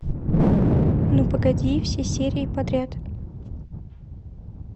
ну погоди все серии подряд